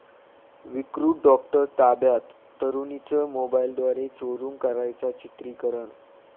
विकृत डॉक्टर ताब्यात, तरुणीचं मोबाईलद्वारे चोरून करायचा चित्रिकरण